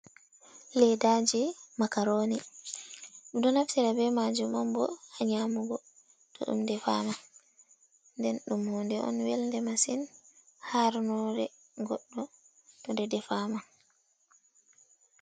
Ledaaje makaroni. Ɓe ɗo naftira ɓe majum on bo haa nyamugo to ɗum defama. Nden ɗum hunde on welnde masin, harnoore goɗɗo to ɗe defama.